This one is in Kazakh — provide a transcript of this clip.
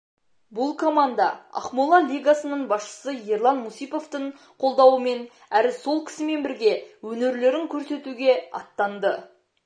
бұл команда ақмола лигасының басшысы ерлан мусиповтың қолдауымен әрі сол кісімен бірге өнерлерін көрсетуге аттанды